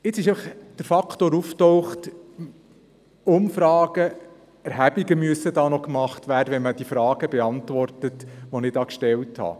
Jetzt ist aufgetaucht, dass Umfragen und Erhebungen gemacht werden müssen, wenn man die Fragen beantworten soll, die ich gestellt habe.